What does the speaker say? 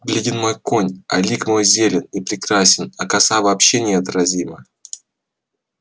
бледен мой конь а лик мой зелен и прекрасен а коса вообще неотразима